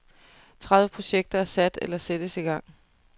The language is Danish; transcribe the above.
Tredive projekter er sat eller sættes i gang.